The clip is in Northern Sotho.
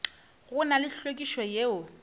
go na le hlwekišo yeo